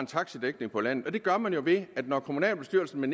taxadækning på landet og det gør man jo ved at når kommunalbestyrelsen med